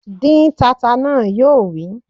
Dín tata náà! Yóò wí